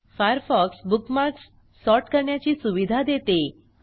Firefox bookmarks sort करण्याची सुविधा देते